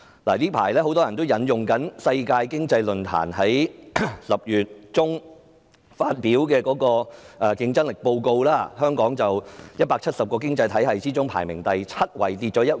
近期，很多人會引用世界經濟論壇在10月中發表的競爭力報告，香港在170個經濟體系中排名第七位，下跌一位。